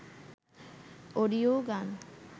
ওডিও গান